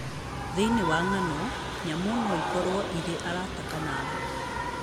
Thĩinĩ wa ng'ano, nyamũ no ikorũo irĩ arata kana thũ.